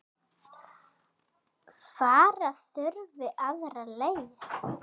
Fara þurfi aðra leið.